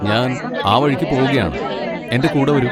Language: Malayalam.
ഞാൻ ആ വഴിക്ക് പോവുകയാണ്, എന്റെ കൂടെ വരൂ.